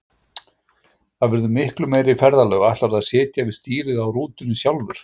Það verða miklu meiri ferðalög, ætlarðu að sitja við stýrið á rútunni sjálfur?